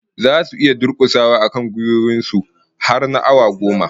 Zasu iya durkusawa akan gwiwoyin su har na awa goma?